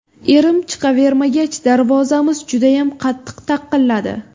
Erim chiqavermagach, darvozamiz judayam qattiq taqilladi.